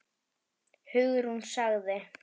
Hugrún sagði